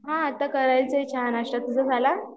हा आता करायचा आहे चहा नाश्ता तुझा झाला?